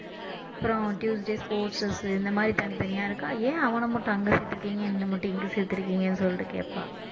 அப்புறம் tuesday sports dress உ இந்த மாதிரி தனித்தனியா இருக்கா ஏன் அவன மட்டும் அங்க சேர்த்து இருக்கீங்க என்னை மட்டும் இங்க சேர்த்துருக்கீங்கன்னு சொல்லிட்டு கேப்பா